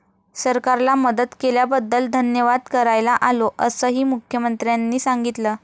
सरकारला मदत केल्याबद्दल धन्यवाद करायला आलो, असंही मुख्यमंत्र्यांनी सांगितलं.